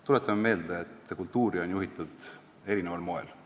Tuletame meelde, et kultuuri on juhitud eri moel.